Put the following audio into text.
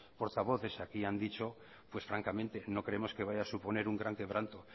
portavoces aquí han dicho pues francamente no creemos que vaya a suponer un gran quebranto